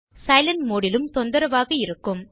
silent mode லும் தொந்தரவாக இருக்கும்